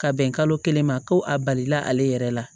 Ka bɛn kalo kelen ma ko a balila ale yɛrɛ la